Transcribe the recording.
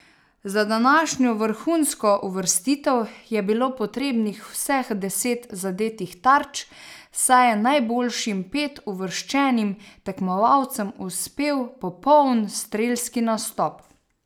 Za današnjo vrhunsko uvrstitev je bilo potrebnih vseh deset zadetih tarč, saj je najboljšim pet uvrščenim tekmovalcem uspel popoln strelski nastop.